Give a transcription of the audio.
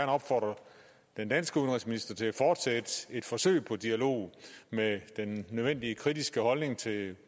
opfordre den danske udenrigsminister til at fortsætte et forsøg på dialog med den nødvendige kritiske holdning til